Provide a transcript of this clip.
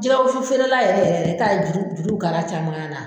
Jigɛ wusu feerela yɛrɛ yɛrɛ i t'a ye juru juru bɛ kari a caman na.